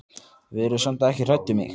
Verið samt ekki hrædd um mig.